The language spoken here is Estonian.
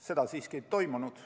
Seda siiski ei toimunud.